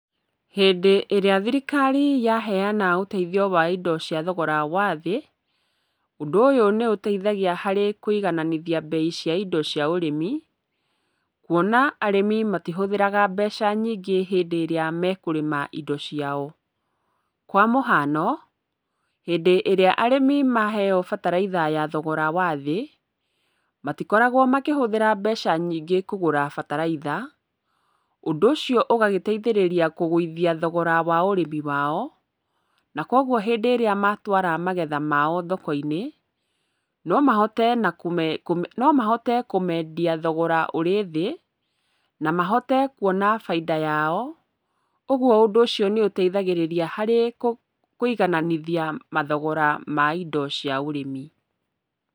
Hĩndĩ ĩrĩa thirikari yaheana ũteithio wa indo cia thogora wa thĩ, ũndũ ũyũ nĩũteithagia harĩ kũigananithia mbei cia indo cia ũrĩmi, kuona arĩmi matihũthĩraga mbeca nyingĩ hĩndĩ ĩrĩa mekũrĩma indo ciao. Kwa mũhano, hĩndĩ ĩrĩa arĩmi maheyo bataraitha ya thogora wa thĩ, matikoragwo makĩhũthĩra mbeca nyingĩ kũgũra bataraitha, ũndũ ũcio ũgagĩteithirĩria kũgũithia thogora wa ũrĩmi wao, na koguo hĩndĩ ĩrĩa matwara magetha mao thoko-inĩ, no mahote kũmeendia thogora ũrĩ thĩ, na mahote kuona bainda yao, ũguo ũndũ ũcio nĩũteithagĩrĩria harĩ kũigananithia mathogora ma indo cia ũrĩmi.